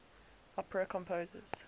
opera composers